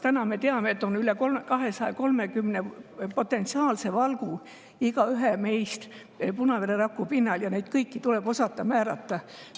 Täna me teame, et on üle 230 potentsiaalse valgu meist igaühe punavereraku pinnal ja neid kõiki tuleb osata määrata.